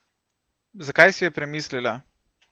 Zakaj si je premislila?